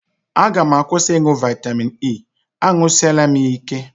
A ga m akwụsị ịṅụ vitamin E, añụsịela m ya ike